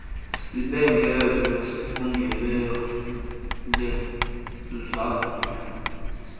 sibhengezo sifungelwe savunywa